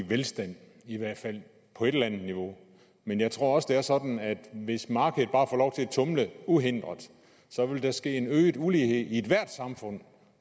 velstand i hvert fald på et eller andet niveau men jeg tror også at det er sådan at hvis markedet bare får lov til at tumle uhindret vil der ske en øget ulighed i ethvert samfund